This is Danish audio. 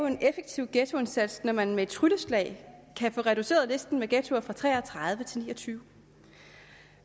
en effektiv ghettoindsats når man med et trylleslag kan få reduceret listen med ghettoer fra tre og tredive til niogtyvende